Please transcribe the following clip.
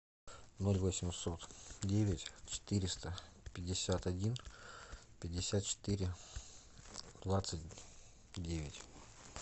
ноль восемьсот девять четыреста пятьдесят один пятьдесят четыре двадцать девять